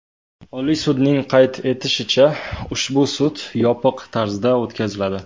Oliy sudning qayd etishicha , ushbu sud yopiq tarzda o‘tkaziladi.